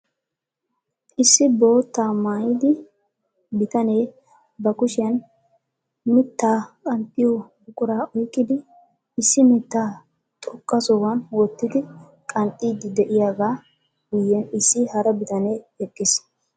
Issi boottaa maayyidi bitanee ba kushiyaan mittaa qanxxiyo buquraa oyqqidi issi mittaa xoqqa sohuwan wottidi qanxxiidi de'iyaaga guyyen issi hara bitanee eqqiis.